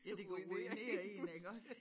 Ja det kan ruinere én iggås